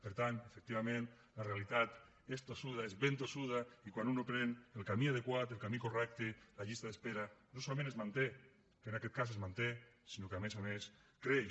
per tant efectivament la realitat és tossuda és ben tossuda i quan un no pren el camí adequat el camí correcte la llista d’espera no solament es manté que en aquest cas es manté sinó que a més a més creix